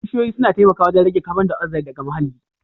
Bishiyoyi suna taimakawa wajen rage kabon dayoxide daga muhalli